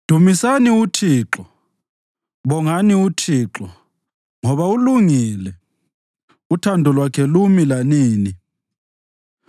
Dumisani uThixo. Bongani uThixo, ngoba ulungile; uthando lwakhe lumi lanini.